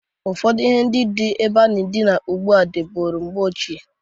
Ụfọdụ ihe na-adị na-ebe a na-adịna ụgbụa adịburo mgbe ochie.